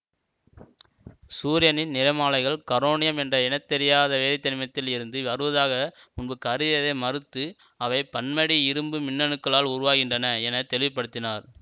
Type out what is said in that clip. சூரியனின் நிறமாலைகள் கரோனியம் என்ற இனந்தெரியாத வேதித்தனிமத்தில் இருந்து வருவதாக முன்பு கருதியதை மறுத்து அவை பன்மடி இரும்பு மின்னணுக்களால் உருவாகின்றன என தெளிவுபடுத்தினார்